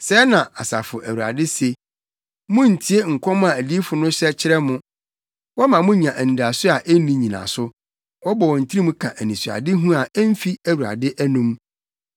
Sɛɛ na Asafo Awurade se: “Munntie nkɔm a adiyifo no hyɛ kyerɛ mo; wɔma mo nya anidaso a enni nnyinaso. Wɔbɔ wɔn tirim ka anisoadehu, a emfi Awurade anom.